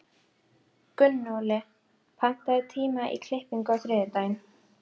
Gunnóli, pantaðu tíma í klippingu á þriðjudaginn.